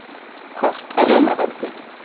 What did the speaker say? Kort af Rómaveldi.